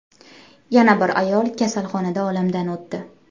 Yana bir ayol kasalxonada olamdan o‘tdi.